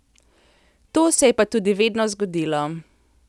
To se je pa tudi vedno zgodilo.